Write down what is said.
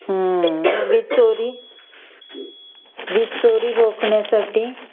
हम्म वीज चोरी वीज चोरी रोखण्यासाठी